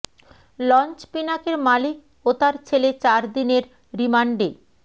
launch পিনাকের মালিক ও তার ছেলে চার দিনের রিমান্ডে